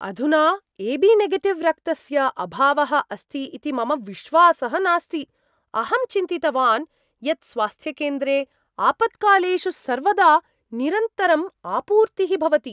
अधुना एबीनेगेटिव् रक्तस्य अभावः अस्ति इति मम विश्वासः नास्ति। अहं चिन्तितवान् यत् स्वास्थ्यकेन्द्रे आपत्कालेषु सर्वदा निरन्तरम् आपूर्तिः भवति।